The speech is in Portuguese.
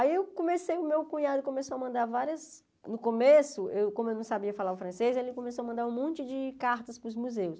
Aí eu comecei aí o meu cunhado começou a mandar várias... No começo, eu como eu não sabia falar o francês, ele começou a mandar um monte de cartas para os museus.